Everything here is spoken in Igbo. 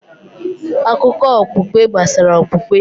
Akụkọ okpukpe gbasara okpukpe